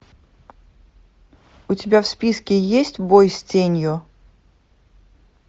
у тебя в списке есть бой с тенью